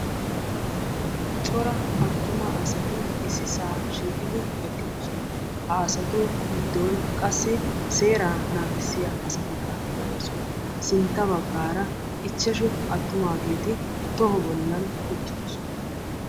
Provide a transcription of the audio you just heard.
Cora attuma asati issisa shiiqida eqqidoosona. Ha asatu giddon qassi seera naagissiyaa asatikka de'oosona. Sintta baggaara ichchashshu attumaageeti toho bollan uttidoosona.